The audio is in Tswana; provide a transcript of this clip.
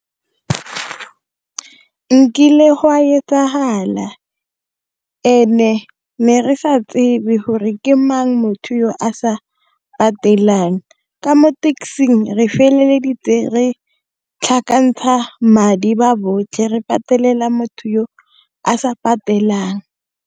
Nkile oa etsagala, and-e ne re sa tsebe gore ke mang motho o a sa patelang ka mo taxi-ing re feleleditse re tlhakantsha madi ba botlhe re patelela motho o a sa patelang.